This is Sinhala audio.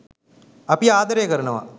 අපි ආදරය කරනවා